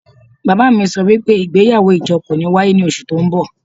Baba mi so wipe igbeyawo ijo ko ni waye mo ni osu to nbo